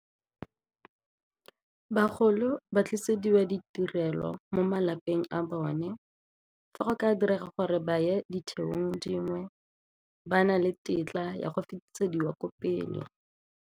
Bagolo ba dirisediwa ditirelo mo malapeng a bone, fa go ka direga gore ba ye ditheong dingwe ba na le tetla ya go fetisediwa ko pele.